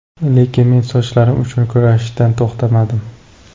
Lekin men sochlarim uchun kurashishdan to‘xtamadim.